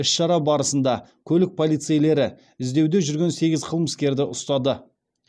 іс шара барысында көлік полицейлері іздеуде жүрген сегіз қылмыскерді ұстады